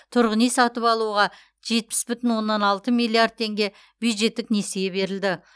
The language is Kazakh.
тұрғын үй сатып алуға жетпіс бүтін оннан алты миллиард теңге бюджеттік несие берілді